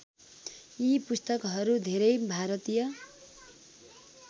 यी पुस्तकहरू धेरै भारतीय